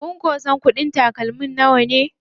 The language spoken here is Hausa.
Kun san ko kuɗin takalmin nawa?